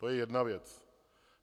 To je jedna věc.